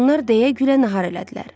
Onlar deyə-gülə nahar elədilər.